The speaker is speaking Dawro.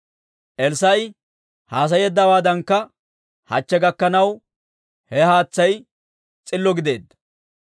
Elssaa'i haasayeeddawaadankka hachche gakkanaw, he haatsay s'illo gideedda.